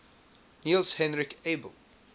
niels henrik abel